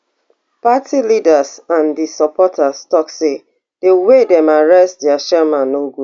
party leaders and di supporters tok say di way dem arrest dia chairman no good